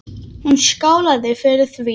Hún skálaði fyrir því.